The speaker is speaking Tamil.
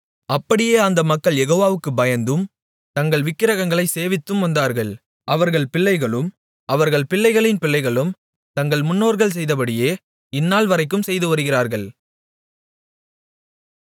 அப்படியே அந்த மக்கள் யெகோவாவுக்குப் பயந்தும் தங்கள் விக்கிரகங்களைச் சேவித்தும் வந்தார்கள் அவர்கள் பிள்ளைகளும் அவர்கள் பிள்ளைகளின் பிள்ளைகளும் தங்கள் முன்னோர்கள் செய்தபடியே இந்நாள்வரைக்கும் செய்து வருகிறார்கள்